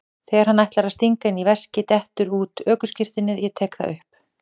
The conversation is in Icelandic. Þegar hann ætlar að stinga henni í veskið dettur út ökuskírteinið, ég tek það upp.